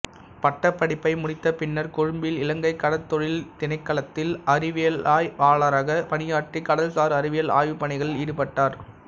பட்டப்படிப்பை முடித்த பின்னர் கொழும்பில் இலங்கைக் கடற்றொழில் திணைக்களத்தில் அறிவியலாய்வாளராகப் பணியாற்றி கடல்சார் அறிவியல் ஆய்வுப் பணிகளில் ஈடுபட்டார்